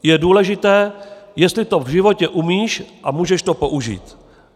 Je důležité, jestli to v životě umíš a můžeš to použít."